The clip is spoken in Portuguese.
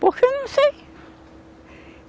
Porque eu não sei.